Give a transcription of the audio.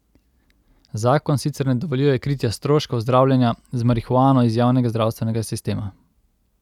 Zakon sicer ne dovoljuje kritja stroškov zdravljenja z marihuano iz javnega zdravstvenega sistema.